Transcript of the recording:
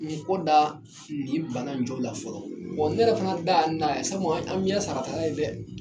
N kɔ da nin bana in la fɔlɔ, ne yɛrɛ fana dan ye n dan ye, sabu an mi yɛ saratala yen dɛ